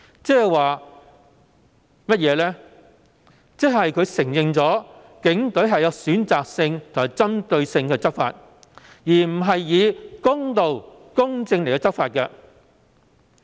就是他也承認警隊是選擇性及針對性而非公道和公正地執法。